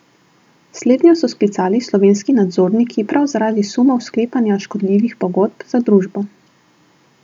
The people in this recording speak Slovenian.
Slednjo so sklicali slovenski nadzorniki prav zaradi sumov sklepanja škodljivih pogodb za družbo.